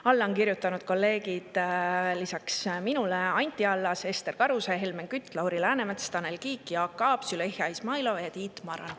Alla on kirjutanud lisaks minule kolleegid Anti Allas, Ester Karuse, Helmen Kütt, Lauri Läänemets, Tanel Kiik, Jaak Aab, Züleyxa Izmailova ja Tiit Maran.